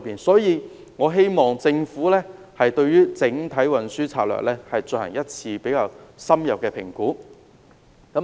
因此，我希望政府可以就整體運輸策略進行一次較深入的評估。